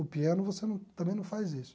O piano você num também não faz isso.